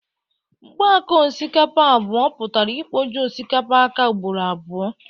Mkpo áká osikapa abụọ pụtara ikpoju osikapa áká ugboro abụọ.